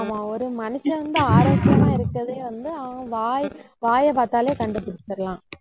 ஆமாம் ஒரு மனுஷன் வந்து, ஆரோக்கியமா இருக்கிறதே வந்து, அவன் வாய் வாயைப் பார்த்தாலே கண்டுபிடிச்சிடலாம்